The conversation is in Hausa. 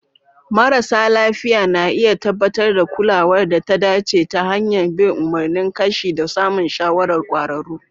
Marasa lafiya na iya tabbatar da kulawar da ta dace ta hanyar bin umarnin kashi da samun shawarar kwararru.